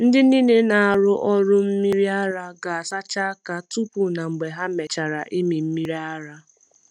Ndị niile na-arụ ọrụ mmiri ara ga-asacha aka tupu na mgbe ha mechara ịmị mmiri ara.